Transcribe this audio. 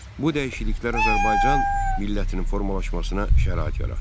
Bu dəyişikliklər Azərbaycan millətinin formalaşmasına şərait yaratdı.